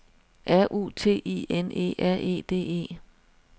R U T I N E R E D E